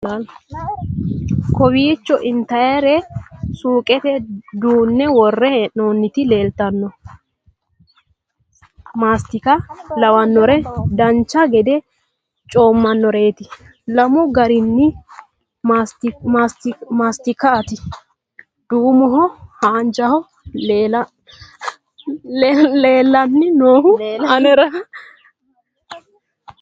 kowiicho intannire suuqete duunne worre hee'noonniti leeltanno mastika lawannore dancha gede coommannoreeti lamu gari maassitikati duumoho haanjaho leelanni nooehu anera